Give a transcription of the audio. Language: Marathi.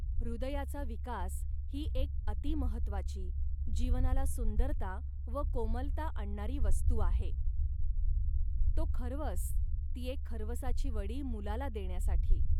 हृदयाचा विकास ही एक अतिमहत्वाची, जीवनाला सुंदरता व कोमलता आणणारी वस्तू आहे. तो खर्वस, ती एक खर्वसाची वडी मुलाला देण्यासाठी